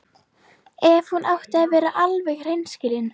Ef hún átti að vera alveg hreinskilin.